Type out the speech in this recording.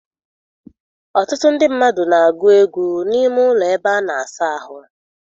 Ọtụtụ ndị mmadụ n'agụ egwu n'ime ụlọ ebe a n'ahụ.